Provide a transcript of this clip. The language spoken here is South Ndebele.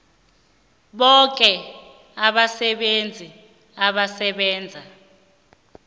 boke abasebenzi abasebenza